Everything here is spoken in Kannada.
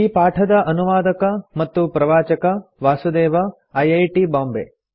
ಈ ಪಾಠದ ಅನುವಾದಕ ಮತ್ತು ಪ್ರವಾಚಕ ವಾಸುದೇವ ಐಐಟಿ ಬಾಂಬೆ